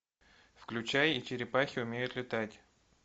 включай и черепахи умеют летать